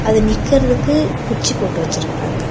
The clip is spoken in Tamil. அது நிக்கறதுக்கு குச்சி போட்டு வச்சிருக்கறாங்க.